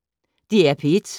DR P1